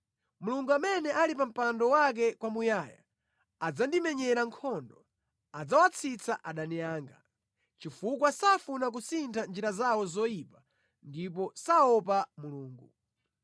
Mulungu amene ali pa mpando wake kwamuyaya, adzandimenyera nkhondo; adzawatsitsa adani anga, chifukwa safuna kusintha njira zawo zoyipa ndipo saopa Mulungu.